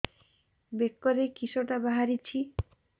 ବେକରେ କିଶଟା ବାହାରିଛି